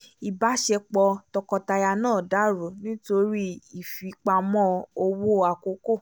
ìbáṣepọ̀ tọkọtaya náà dàrú nítorí ìfipamọ́ owó àkọkọ